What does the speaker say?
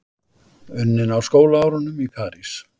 Unnin á skólaárunum í París.